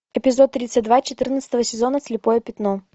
эпизод тридцать два четырнадцатого сезона слепое пятно